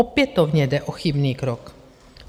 Opětovně jde o chybný krok.